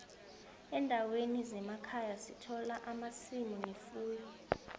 endaweni zemakhaya sithola amasimu nefuyo